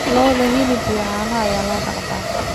Lo�da hilib iyo caano ayaa loo dhaqdaa.